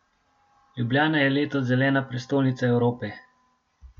Ljubljana je letos Zelena prestolnica Evrope.